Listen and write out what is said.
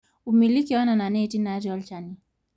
umiliki oonena neeti naatii olchani